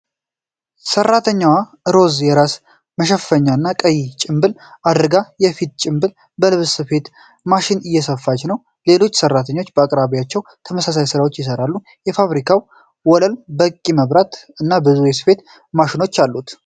ሰራተኛዋ ሮዝ የራስ መሸፈኛ እና ቀይ ጭንብል አድርጋ የፊት ጭንብል በልብስ ስፌት ማሽን እየሰፋች ነው። ሌሎች ሰራተኞችም በአቅራቢያቸው ተመሳሳይ ስራዎችን ይሰራሉ። የፋብሪካው ወለል በቂ መብራት እና ብዙ የስፌት ማሽኖች አሉት።